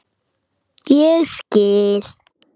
Ég skil